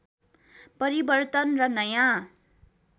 परिवर्तन र नयाँ